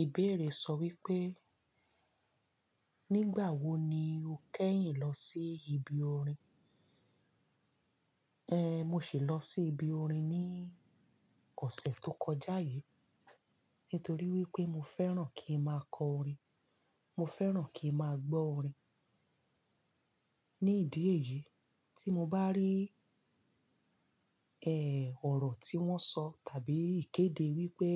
Ìbéèrè sọ wípé, nígbà wo ni o kẹ́yìn lọ sí ibi orin? Ehn, mo sì lọ sí ibi orin ní ọ̀sẹ̀ tó kọjá yìí nítorí wípé mo fẹ́ràn kí n máa kọ, mo fẹ́ràn kí n máa gbọ́ orin. Ní ìdí èyí, tí mo bá rí ẹ́, ọ̀rọ̀ tí wọ́n sọ tàbí ìkéde wípé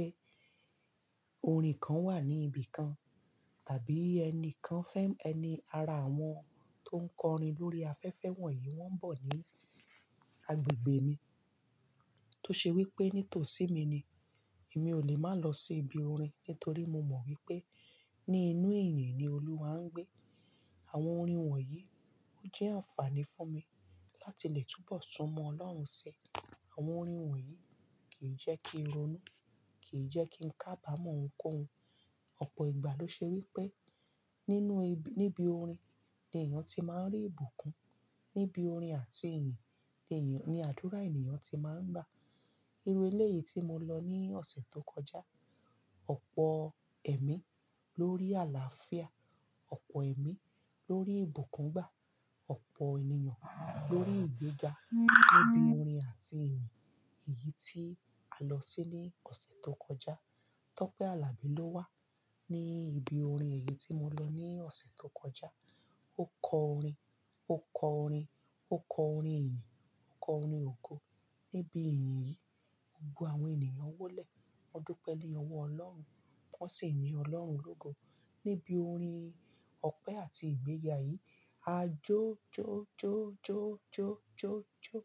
orin kan wà ní ibi kan tàbí ẹni kan fẹ́-- ẹni ara àwọn tó ń kọ orin lórí afẹ́fẹ́ wọ̀nyí wọ́n ń bọ̀ ní agbègbè mi. Tó ṣe wípé nítòsí mi ni, èmi ò lè má lọ sí ibi orin, nítorí mo mọ̀ wípé ní inú ẹ̀yan ni Olúwa ń gbé. Àwọn orin wọ̀nyí ó jẹ́ àǹfààní fún mi láti lè túbọ̀ sún mọ Ọlọ́run ṣi. Àwọn orin wọ̀nyí kìí jẹ́ kí n ronú, kìí jẹ́ kí n kábàmọ́ ohunkóhun. Ọ̀pọ̀ ìgbà ló ṣe wípé nínú ibi, níbi orin ni èèyàn tí máa ń rí ìbùkún. Níbi orin àti ìyìn ni èèyàn, ní àdúrà ènìyàn tí máa ń gbà. Irú eléyìí tí mo lọ ní ọ̀sẹ̀ tó kọjá, ọ̀pọ̀ ẹ̀mí lórí àlàáfíà, ọ̀pọ̀ ẹ̀mí lórí ìbùkún gbà, ọ̀pọ̀ ènìyàn lórí ìgbéga níbi orin àti ìyìn. Èyí tí a lọ sí ní ọ̀sẹ̀ tó kọjá. Tope Alabi ló wà ní ibi orin èyí tí mo lọ ní ọ̀sẹ̀ tó kọjá. Ó kọ orin, ó kọ orin, ó kọ orin ìyìn, ó kọ orin ògo níbi ìyin yìí. Gbogbo àwọn ènìyàn wólẹ̀. Wọ́n dúpẹ́ ní ọwọ́ Ọlọ́run, wọ́n sì yin Ọlọ́run lógo. Níbi orin ọpẹ́ àti ìgbéga yìí, a jó jó jó jó jó jó jó.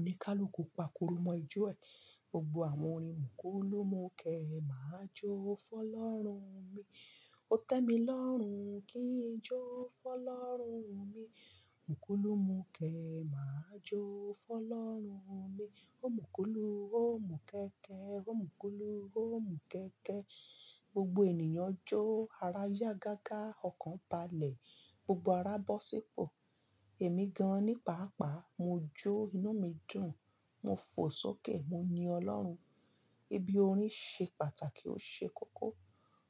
Oníkálùkù pakurumo ijó ẹ. Gbogbo àwọn orin, mukulu, mukẹ, màá jó fọ́lọ́run mi. Ó tẹ́mi lọ́rùn kin jó fọ́lọ́run mi mukulu mukẹ, màá jó fọ́lọ́run mi. Oh mukulu, oh mukẹkẹ. Oh mukulu, oh mukẹkẹ. Gbogbo ènìyàn jó. Ara yá gágá, ọkàn balẹ̀. Gbogbo ara bọ́ sípò. Èmi gan-an ní paàpá, mo jó, inú mi dùn. Mo fò sókè. Mo yin Ọlọ́run. Ibi orin ṣe pàtàkì, ó ṣe kókó.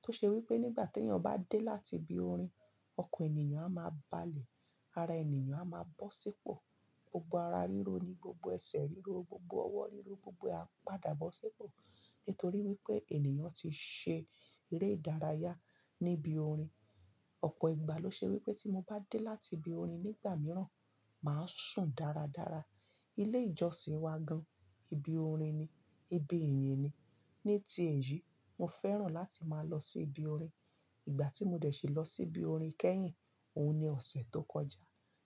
Tó ṣe wípé nígbà tí èyàn bá dé láti ibi orin, ọkàn ènìyàn a máa balẹ̀, ara ènìyàn a máa bọ́ sípò, gbogbo ara ríro ni, gbogbo ẹsẹ̀ ríro, gbogbo ọwọ́ ríro gbogbo ẹ a padà bọ́ sípò nítorí wípé ènìyàn ti ṣe eré ìdárayá ní ibi orin. Ọ̀pọ̀ ìgbà ló ṣe wípé tí mo bá dé láti ibi orin nígbà mìíràn, màá sùn dáradára. Ilé ìjọsìn wa gan, ibi orin ni, ibi ìyìn ni. Ní ti èyí, mo fẹ́ràn láti máa lọ sí ibi orin. Ìgbà tí mo dẹ̀ ṣe lọ sí ibi orin kẹ́yìn, òun ni ọ̀sẹ̀ tó kọjá.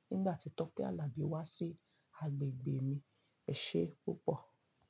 Nígbà tí Tope Alabi wá sí agbègbè mi. Ẹ ṣé púpọ̀.